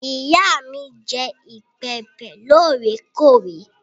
Ìyá mi jẹ ìbẹ́pẹ́ lóòrèkóòrè.